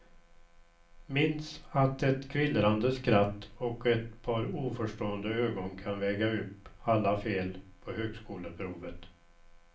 Minns att ett kvillrande skratt och ett par oförstående ögon kan väga upp alla fel på högskoleprovet.